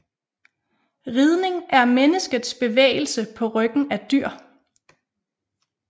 Ridning er menneskets bevægelse på ryggen af dyr